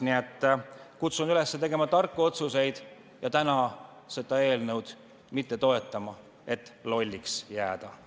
Nii et kutsun üles tegema tarku otsuseid ja täna seda eelnõu mitte toetama, et mitte lolliks jääda!